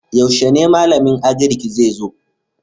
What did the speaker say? Yaushe ne malamin Agrik zai zo?